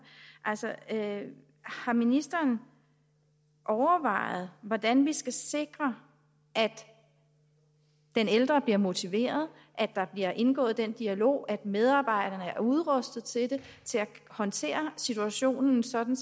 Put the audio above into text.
har ministeren overvejet hvordan vi skal sikre at den ældre bliver motiveret at der bliver indgået en dialog at medarbejderne er udrustet til at håndtere situationen sådan